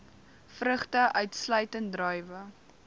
vrugte uitsluitend druiwe